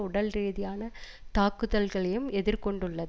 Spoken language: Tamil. உடல் ரீதியான தாக்குதல்களையும் எதிர் கொண்டுள்ளது